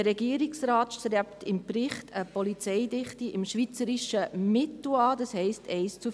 Der Regierungsrat strebt laut Bericht eine Polizeidichte im schweizerischen Mittel an, das heisst 1 zu 453.